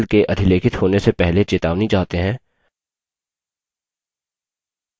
यदि हम file के अधिलेखित होने से पहले चेतावनी चाहते हैं